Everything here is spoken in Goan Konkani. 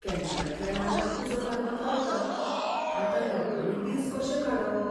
कॅनडांतल्या रानांक उजो लागत रावता, आतां लोकांनी दीस कशे काडप?